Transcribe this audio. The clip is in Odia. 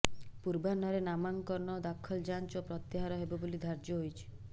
ପୂର୍ବାହ୍ନରେ ନାମାଙ୍କନ ଦାଖଲ ଯାଂଚ ଓ ପ୍ରତ୍ୟାହାର ହେବ ବୋଲି ଧାର୍ଯ୍ୟ ହୋଇଛି